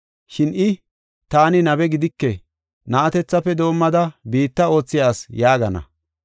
Shin I, ‘Taani nabe gidike; na7atethafe doomada biitta oothiya asi’ yaagana.